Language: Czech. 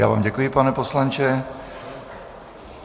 Já vám děkuji, pane poslanče.